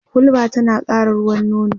hulba tana ƙara ruwan nono